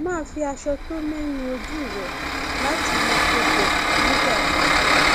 máa fi aṣọ tó mẹ nu ojú rẹ láti mú kó gbẹ nígbà gbogbo